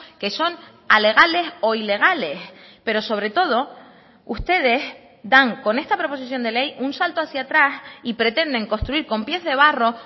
que son alegales o ilegales pero sobre todo ustedes dan con esta proposición de ley un salto hacia atrás y pretenden construir con pies de barro